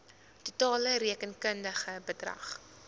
totale rekenkundige bedrag